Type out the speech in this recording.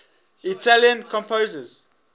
italian composers